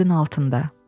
Söyüdün altında.